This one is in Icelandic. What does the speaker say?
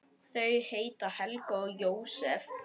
Þau heita Helga og Jósep.